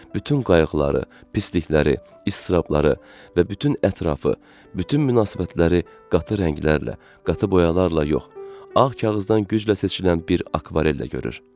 Bütün qayğıları, pislikləri, iztirabları və bütün ətrafı, bütün münasibətləri qatı rənglərlə, qatı boyalarla yox, ağ kağızdan güclə seçilən bir akvarellə görür.